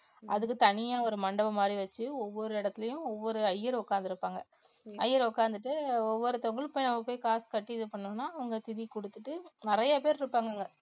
அதுக்கு தனியா ஒரு மண்டபம் மாதிரி வச்சு ஒவ்வொரு இடத்துலயும் ஒவ்வொரு ஐயர் உட்கார்ந்து இருப்பாங்க ஐயர் உட்கார்ந்துட்டு ஒவ்வொருத்தவங்களுக்கும் போய் அங்க போய் காசு கட்டி இது பண்ணோம்னா அவங்க திதி கொடுத்துட்டு நிறைய பேர் இருக்காங்க அங்க